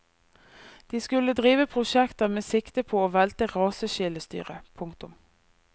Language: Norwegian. De skulle drive prosjekter med sikte på å velte raseskillestyret. punktum